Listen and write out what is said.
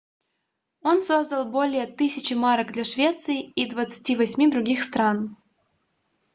он создал более 1000 марок для швеции и 28 других стран